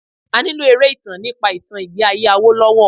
A nílò eré ìtàn nípa ìtàn ìgbẹ́ ayé Awolowo.